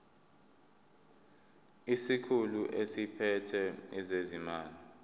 isikhulu esiphethe ezezimali